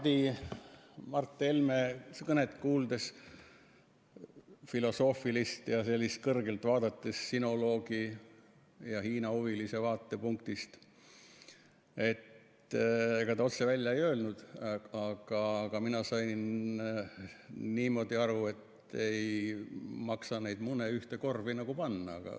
Siin Mart Helme kõnet kuulates, filosoofilist ja sellisest kõrgest sinoloogi ja Hiina-huvilise vaatepunktist peetud kõnet, ega ta otse välja ei öelnud, aga mina sain niimoodi aru, et ei maksa kõiki mune ühte korvi panna.